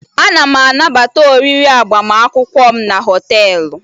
Ana m anabata oriri agbamakwụkwọ m na họtelu